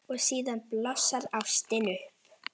Og síðan blossar ástin upp.